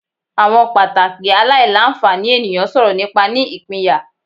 Awọn pataki alailanfani eniyan sọrọ nipa ni ipinya